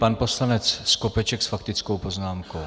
Pan poslanec Skopeček s faktickou poznámkou.